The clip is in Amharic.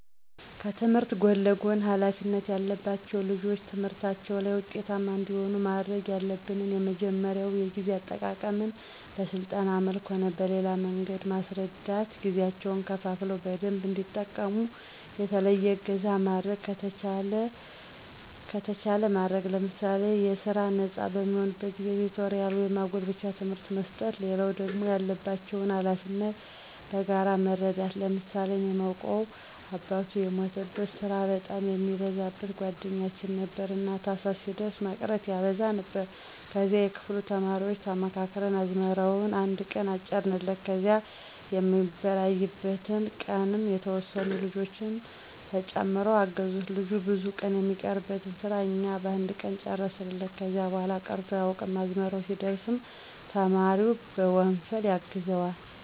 ከትምህርት ጎን ለጎን ሀላፊነት ያለባቸው ልጆች ትምህርታቸው ላይ ውጤታማ እንዲሆኑ ማድረግ ያለብን የመጀመሪያው የጊዜ አጠቃቀመን በስልጠና መልክም ሆነ በሌላ መንገድ መስረዳት ጊዜያቸውን ከፋፍለው በደንብ እንዲጠቀሙ፣ የተለየ እገዛ ማድረግ ከተቻለ ማድረግ ለምሳሌ ከስራ ነጻ በሚሆኑበት ጊዜ ቲቶሪያል ወይም ማጎልበቻ ትምህርት መስጠት። ሌላው ደግሞ ያለባቸውን ሀላፊነት መጋራት መረዳዳት። ለምሳሌ እኔ ማውቀው አባቱ የሞተበት ስራ በጣም የሚበዛበት ጓደኛችን ነበረ። እና ታህሳስ ሲደርስ መቅረት ያበዛ ነበር ከዚያ የክፍሉ ተማሪዎች ተመካክረን አዝመራውን አነድ ቀን አጨድንለት ከዚያ የሚበራይበት ቀንም የተወሰኑ ልጆች ተጨምረው አገዙት ልጁ ብዙ ቀን የሚቀርበትን ስራ እኛ በአንድ ቀን ጨረስንለት። ከዚያ በኋላ ቀርቶ አያውቅም። አዝመራ ሲደርስም ተማሪው በወንፈል ያግዘዋል።